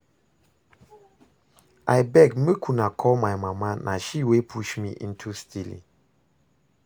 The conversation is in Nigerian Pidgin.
Abeg make una call my mama na she wey push me into stealing